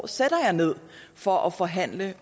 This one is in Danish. sætter jeg ned for at forhandle